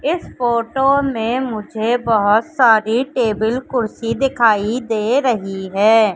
इस फोटो ने मुझे बहोत सारी टेबल कुर्सी दिखाई दे रही हैं।